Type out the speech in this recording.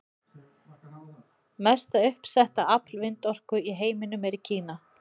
Mesta uppsetta afl vindorku í heiminum er í Kína.